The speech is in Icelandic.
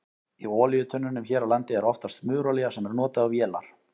Í olíutunnum hér á landi er oftast smurolía sem er notuð á vélar.